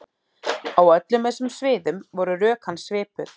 Á öllum þessum sviðum voru rök hans svipuð.